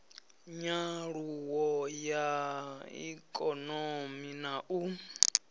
nyaluwo ya ikonomi na u